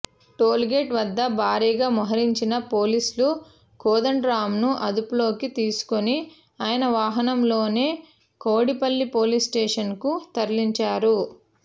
tollgate వద్ద భారీగా మోహరించిన పోలీసులు కోదండరాంను అదుపులోకి తీసుకుని ఆయన వాహనంలోనే కౌడిపల్లి పోలీస్ స్టేషన్కు తరలించారు